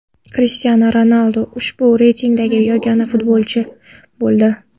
Krishtianu Ronaldu ushbu reytingdagi yagona futbolchi bo‘ldi.